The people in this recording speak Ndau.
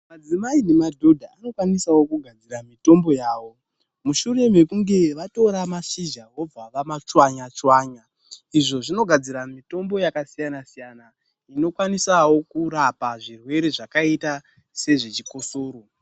Madzimai nemadhodha vanokwanisawo kugadzira mitombo yawo mushure mekunge vatora mashizha vobva vamachwanya chwanya, izvo zvinogadzira mitombo yakasiyana siyana, inokwanisawo kurapa zvirwere zvakaita sezve chikosoro.